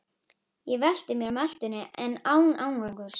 Ég velti mér á meltuna en án árangurs.